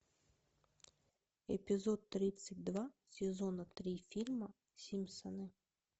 эпизод тридцать два сезона три фильма симпсоны